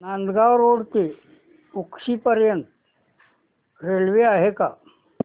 Nandgaon road ते उक्षी पर्यंत railway आहे का